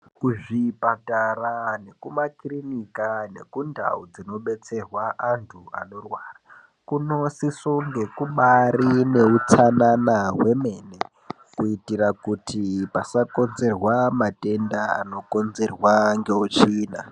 Kuzvipatara nekumakirinika nekundau dzinobetserwa antu anorwara kunosisirwa kunge kubaari nehutsanana kuitira kuti pasakonzerwa matenda anokonzerwa nehutsvina.